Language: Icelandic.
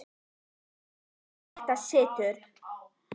Við þetta situr.